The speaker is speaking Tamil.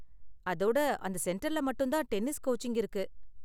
அதோட அந்த சென்டர்ல மட்டும் தான் டென்னிஸ் கோச்சிங் இருக்கு.